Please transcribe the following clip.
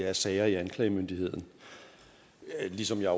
af sager i anklagemyndigheden ligesom jeg